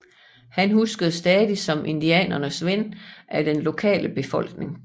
Han huskes stadig som indianernes ven af den lokale befolkning